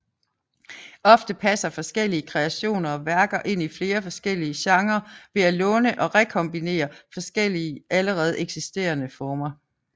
Ofte passer forskellige kreationer og værker ind i flere forskellige genrer ved at låne og rekombinere forskellige allerede eksisterende former